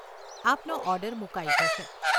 આપનો ઓર્ડર મુકાઈ જશે.